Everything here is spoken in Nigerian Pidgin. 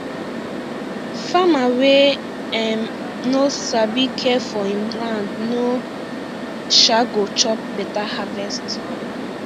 farmer wey um no sabi care for him land no um go chop better harvest